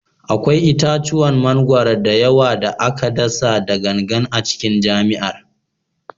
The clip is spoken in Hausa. Akwai itatuwan mangwaro da yawa da aka dasa da gangan a cikin jami'ar